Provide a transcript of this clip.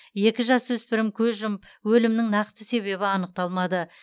екі жасөспірім көз жұмып өлімнің нақты себебі анықталмады